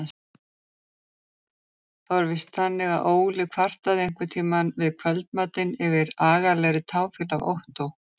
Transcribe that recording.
Það var víst þannig að Óli kvartaði einhverntíma við kvöldmatinn yfir agalegri táfýlu af Ottó.